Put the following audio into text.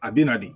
A bɛ na de